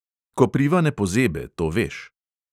Kopriva ne pozebe, to veš...